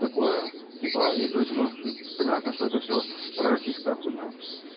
такое типа и короче ну понятно что это всё пророссийская хуйня